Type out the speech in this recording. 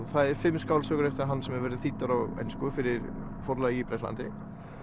það eru fimm skáldsögur eftir hann sem hafa verið þýddar á ensku fyrir forlag í Bretlandi